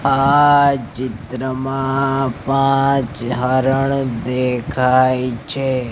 આ ચિત્રમાં પાંચ હરણ દેખાય છે.